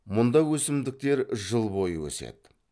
мұнда өсімдіктер жыл бойы өседі